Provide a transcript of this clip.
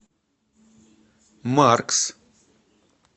маркс